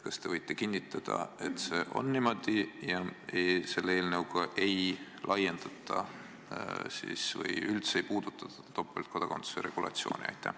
Kas te võite kinnitada, et see on niimoodi ja selle eelnõuga ei laiendata ega üldse puudutata topeltkodakondsuse regulatsiooni?